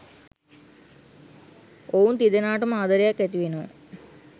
ඔවුන් තිදෙනාටම ආදරයක් ඇති වෙනවා.